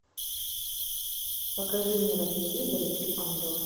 покажи мне на телевизоре три ангела